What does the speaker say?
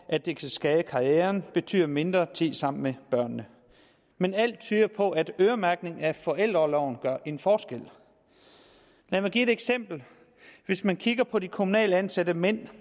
at det kan skade karrieren betyder mindre tid sammen med børnene men alt tyder på at en øremærkning af forældreorloven gør en forskel lad mig give et eksempel hvis man kigger på de kommunalt ansatte mænd